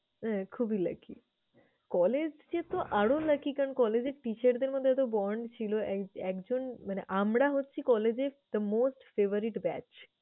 হ্যাঁ খুবই lucky, চollege এ তো আরও lucky । কারণ college এর teacher দের মধ্যে এত bond ছিল এক~ একজন মানে আমরা হচ্ছি college এর the most favourite batch